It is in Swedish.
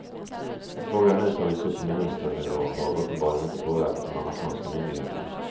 Att frågan nu tagits upp på ministernivå har uppenbarligen inte påverkat de amerikanska myndigheterna.